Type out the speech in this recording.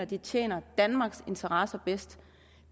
det tjener danmarks interesser bedst